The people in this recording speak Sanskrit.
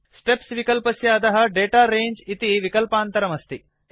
स्टेप्स् विक्ल्पस्य अधः दाता रङ्गे इति विकल्पान्तरं अस्ति